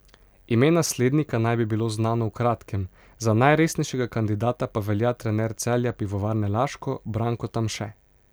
Ime naslednika naj bi bilo znano v kratkem, za najresnejšega kandidata pa velja trener Celja Pivovarne Laško Branko Tamše.